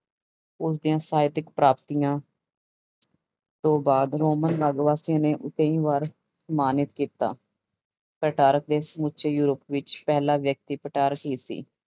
ਉਸਦੀਆਂ ਸਾਹਿਤਕ ਪ੍ਰਾਪਤੀਆਂ ਤੋਂ ਬਾਅਦ ਰੋਮਨ ਕਈ ਵਾਰ ਸਨਮਾਨਿਤ ਕੀਤਾ, ਪੈਟਾਰਕ ਦੇ ਸਮੁੱਚੇ ਯੂਰਪ ਵਿੱਚ ਪਹਿਲਾ ਵਿਅਕਤੀ ਪੈਟਾਰਕ ਹੀ ਸੀ।